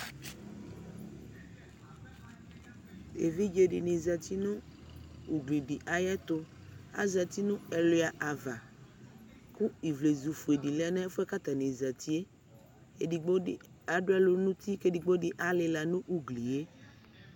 Evidze di ni zati nu ugli di ayɛtuAzati nu ɛluya ava ku ivlezu fuedi lɛ nu ɛfɛ ku atani zatiƐdigbo di adu lu nunti, ku ɛdgbo di alila nu ugli ye